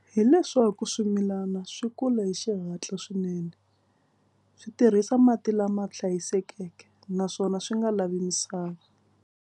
Hi leswaku swimilana swi kula hi xihatla swinene. Swi tirhisa mati lama hlayisekeke naswona swi nga lavi misava.